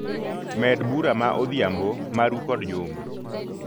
Med bura ma odhiambo maru kod Juma.